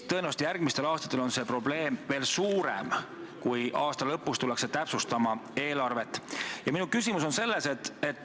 Tõenäoliselt järgmistel aastatel on see probleem veel suurem, kui aasta lõpus tullakse eelarvet täpsustama.